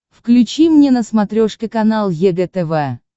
включи мне на смотрешке канал егэ тв